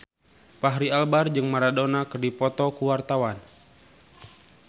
Fachri Albar jeung Maradona keur dipoto ku wartawan